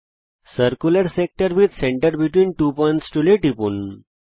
circular sector with centre between two points টুলে টিপুন